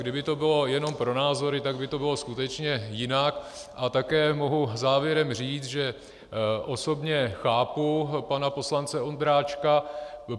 Kdyby to bylo jenom pro názory, tak by to bylo skutečně jinak, a také mohu závěrem říct, že osobně chápu pana poslance Ondráčka.